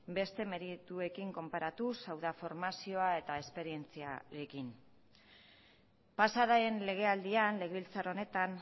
beste merituekin konparatuz hau da formazioa eta esperientziarekin pasa den legealdian legebiltzar honetan